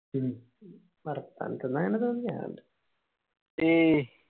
വർത്തനത്തിന്ന് അങ്ങനെ തോന്നി അതോണ്ട്